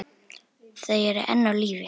Þau eru enn á lífi.